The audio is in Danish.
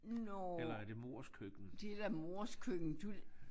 Nåå det da mors køkken du